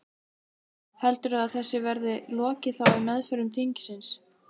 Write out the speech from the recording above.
Heldurðu að þessu verði lokið þá í meðförum þingsins?